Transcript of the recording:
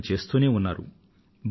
ప్రయత్నం చేస్తూనే ఉన్నారు